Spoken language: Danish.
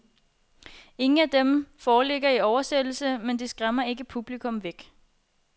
Ingen af dem foreligger i oversættelse, men det skræmmer ikke publikum væk.